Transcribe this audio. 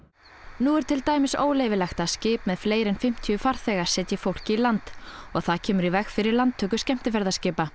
nú er til dæmis óleyfilegt að skip með fleiri en fimmtíu farþega setji fólk í land og það kemur því í veg fyrir landtöku skemmtiferðaskipa